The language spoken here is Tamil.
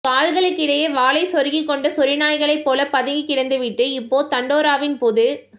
கால்களுக்கிடையே வாலைச் சொருகிக் கொண்ட சொரி நாய்களைப் போல பதுங்கிக் கிடந்து விட்டு இப்போ தண்டோ ராவின் பொதுக்